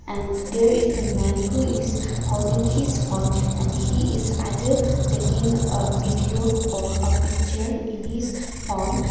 and there is the man who is holding his phone and he is either taking a video or a picture in his phone.